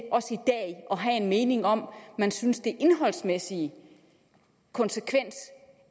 have en mening om man synes den indholdsmæssige konsekvens